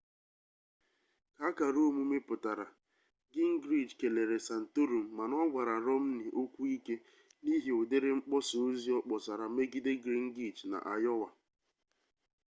ka akara omume pụtara gingrich kelere santorum mana ọ gwara rọmni okwu ike n'ihi ụdịrị mkpọsa ozi ọ kpọsara megide gringrich na ayowa